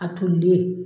A tolilen